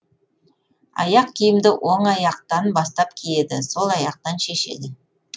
аяқ киімді оң аяқтан бастап киеді сол аяқтан шешеді